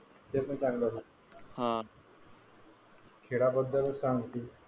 ते पण चांगलं होत खेळाबद्दल हा सांगतोय.